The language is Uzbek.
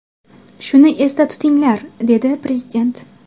Shuni esda tutinglar”, dedi prezident.